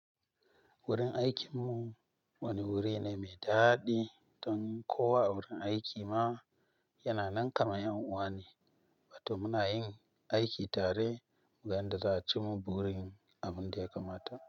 Wurin aikinmu wani wuri ne mai daɗi don kowa a wurin aiki ma yana nan kamar ʼyan uwa ne, wato muna yin aiki tare tayan da za'a cimma burin abun da ya kamata.